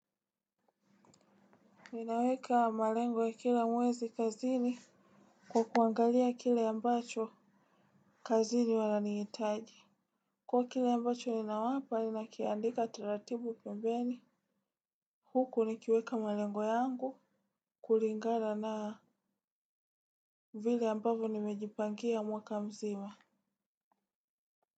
Ninaweka malengo ya kila mwezi kazini kwa kuangalia kila ambacho kazini wananihitaji. Kwa kila ambacho ninawapa, ninakiandika taratibu pembeni. Huku nikiweka malengo yangu kulingala na vile ambavyo nimejipangia mwaka mzima.